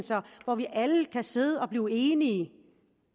hvor vi alle kan sidde og blive enige